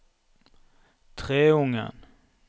Treungen